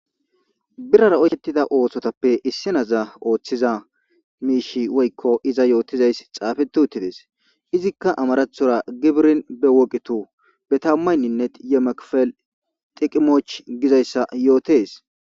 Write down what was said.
Birara oyqeti utida ossotappe isinazza mishi woykko izza yotizayssi xafeti utidees. izzikka gibirin bewoqitu betamaynineti yemekefel xiqimoch gizayssa yottees.